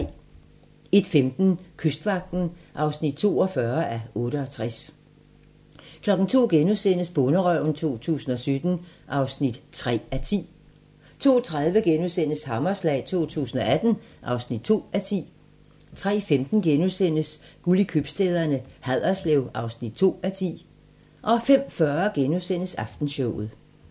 01:15: Kystvagten (42:68) 02:00: Bonderøven 2017 (3:10)* 02:30: Hammerslag 2018 (2:10)* 03:15: Guld i købstæderne - Haderslev (2:10)* 05:40: Aftenshowet *